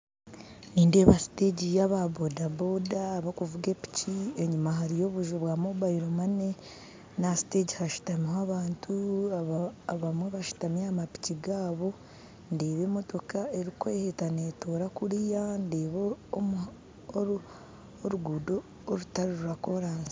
Nindeeba stage y'aba boda boda bakuvuga epiki enyuma hariyo obuju bwa mobile money n'aha stage hashutamiho abantu abamwe bashutami aha mapiki gaabu ndeeba emotoka erikweheta netoora kuriya ndeeba oruguuto orutari rwa korasi